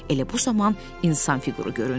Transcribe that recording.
Elə bu zaman insan fiquru göründü.